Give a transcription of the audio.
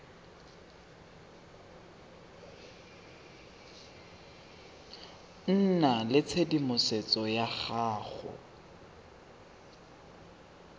nna le tshedimosetso ya go